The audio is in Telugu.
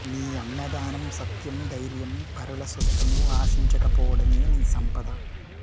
నీ అన్నదానం సత్యం ధైర్యం పరుల సొత్తును ఆశించక పోవడమే నీ సంపద